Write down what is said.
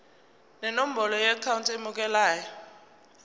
nenombolo yeakhawunti emukelayo